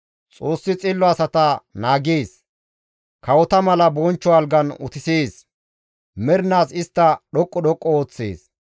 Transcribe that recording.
Xoossi xillo asata naagees; kawota mala bonchcho algan utisees; mernaas istta dhoqqu dhoqqu histtees.